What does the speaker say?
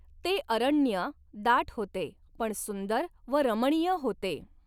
ते अरण्य दाट होते, पण सुंदर व रमणीय होते.